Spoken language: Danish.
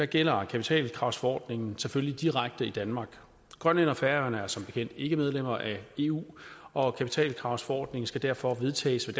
gælder kapitalkravsforordningen selvfølgelig direkte i danmark grønland og færøerne er som bekendt ikke medlemmer af eu og kapitalkravsforordningen skal derfor vedtages ved